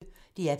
DR P1